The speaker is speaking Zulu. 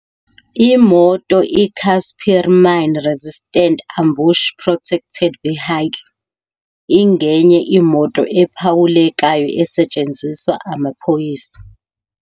Imoto iCasspir Mine-Resistant Ambush Protected Vehicle ingenye imoto ephawulekayo esetshenziswa ngamaphoyisa.